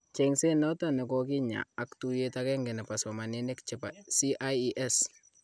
Chengset nato nekokinya ak tuyet agenge nepo somaninik chepo CIES